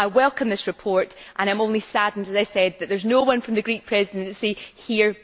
I welcome this report, and I am only saddened, as I have said, that there is no one from the Greek Presidency here.